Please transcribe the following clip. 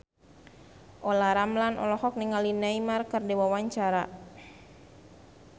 Olla Ramlan olohok ningali Neymar keur diwawancara